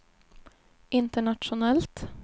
internationellt